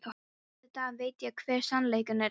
Auðvitað veit ég hver sannleikurinn er.